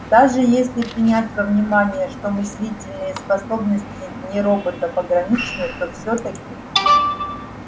даже если принять во внимание что мыслительные способности нероботов ограничены то всё-таки